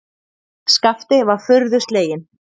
Skapti var furðu sleginn.